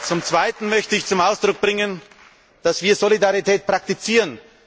Zum Zweiten möchte ich zum Ausdruck bringen, dass wir Solidarität praktizieren.